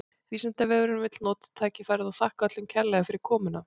Vísindavefurinn vill nota tækifærið og þakka öllum kærlega fyrir komuna!